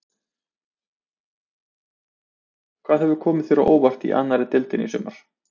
Hvað hefur komið þér á óvart í annarri deildinni í sumar?